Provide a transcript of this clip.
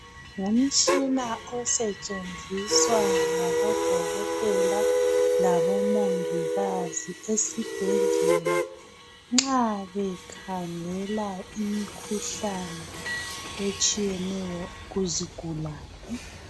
Ngumtshina osetshenziswa ngabodokotela labomongikazi esibhedlela nxa bekhangela imikhuhlane etshiyeneyo kuzigulane